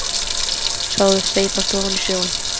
Sá þau steypast ofan í sjóinn.